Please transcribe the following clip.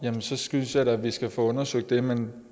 så synes jeg da at vi skal få undersøgt det men